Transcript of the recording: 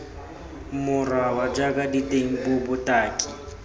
moraba jaaka diteng puo botaki